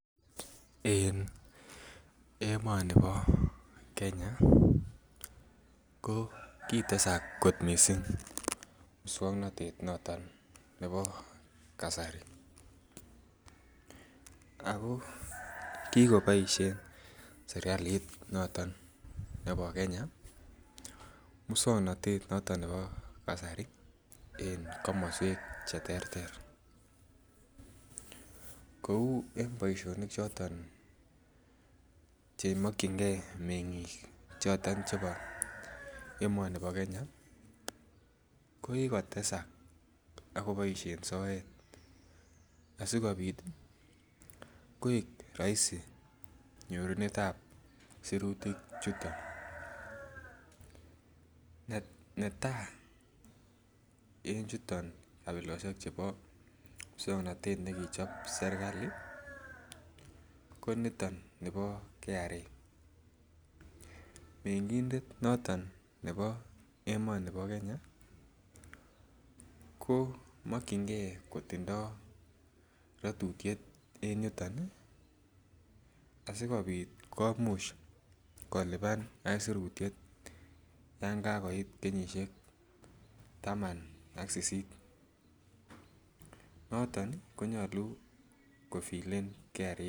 En emoni bo Kenya ko kitesak kot missing muswongnotet noton nebo kasari ako kikiboisien serkalit noton nebo Kenya muswongnotet noton nebo kasari en komoswek cheterter kou en boisionik choton chemokyingee meng'ik choton chebo emoni bo Kenya ko kikotesak ak koboisien soet asikobit koik roisi nyorunet ab sirutik chuton netaa en chuton kabilosiek chubo muswongnotet nekichon serkali ko niton nibo Kenya Revenue Authority mengindet noton nebo emonibo Kenya komokyingee kotindoo rotutiet en yuton ih asikobit komuch kolipan aisurutiet yan kakoit kenyisiek taman ak sisisit noton konyolu kufilen Kenya Revenue Authority